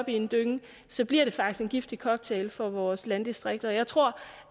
en dynge så bliver det faktisk en giftig cocktail for vores landdistrikter jeg tror